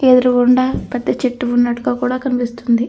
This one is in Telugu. ఎదురుగుండ పెద్ద చెట్టు ఉన్నట్టుగా కూడా కనిపిస్తుంది.